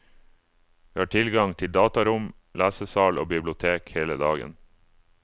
Vi har tilgang til datarom, lesesal og bibliotek hele dagen.